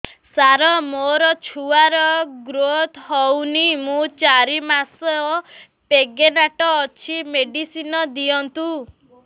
ସାର ମୋର ଛୁଆ ର ଗ୍ରୋଥ ହଉନି ମୁ ଚାରି ମାସ ପ୍ରେଗନାଂଟ ଅଛି ମେଡିସିନ ଦିଅନ୍ତୁ